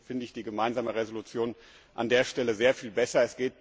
Deswegen finde ich die Gemeinsame Entschließung an dieser Stelle sehr viel besser.